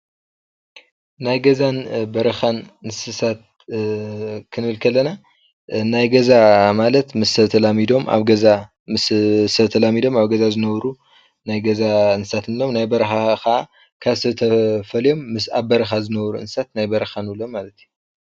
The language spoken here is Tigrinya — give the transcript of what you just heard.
ናይ ገዛን በረኻን እንስሳት ክንብል ከለና ናይ ገዛ ማለት ምስ ሰብ ተላሚዶሞ ኣብ ገዛ ዝነብሩ እንትኾኑ ናይ በረኻ እንስሳት ካብ ሰብ ተፈልዮም ምስ ኣብ በረኻ ዝነብሩ እንስሳት ናይ በረኻ እንስሳት እንብሎም።